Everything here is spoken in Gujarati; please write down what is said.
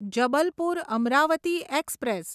જબલપુર અમરાવતી એક્સપ્રેસ